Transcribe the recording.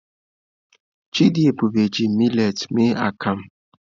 Chidiebube ji miletị mee akamu.